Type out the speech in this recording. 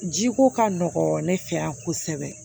Jiko ka nɔgɔn ne fɛ yan kosɛbɛ